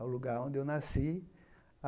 ao lugar onde eu nasci.